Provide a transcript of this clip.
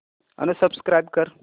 unsubscribe कर